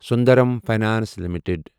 Sundaram finance limited